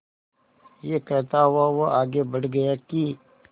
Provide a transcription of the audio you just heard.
यह कहता हुआ वह आगे बढ़ गया कि